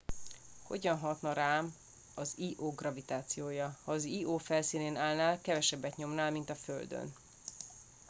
hogyan hatna rám az io gravitációja ha az io felszínén állnál kevesebbet nyomnál mint a földön